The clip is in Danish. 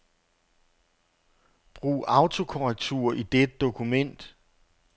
Brug autokorrektur i dette dokument.